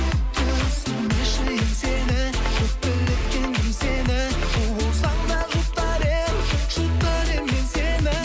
түсірмеші еңсені өкпелеткен кім сені у болсаң да жұтар едім жұтар едім мен сені